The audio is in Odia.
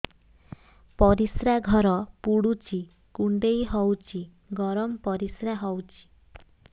ପରିସ୍ରା ଘର ପୁଡୁଚି କୁଣ୍ଡେଇ ହଉଚି ଗରମ ପରିସ୍ରା ହଉଚି